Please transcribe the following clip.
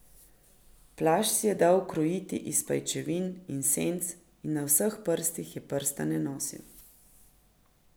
Plašč si je dal ukrojiti iz pajčevin in senc in na vseh prstih je prstane nosil.